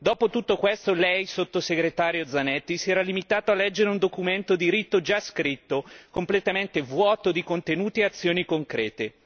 Dopo tutto questo, lei sottosegretario Zanetti, si era limitato a leggere un documento diritto già scritto completamente vuoto di contenuti e azioni concrete.